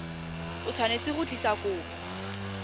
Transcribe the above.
o tshwanetse go tlisa kopo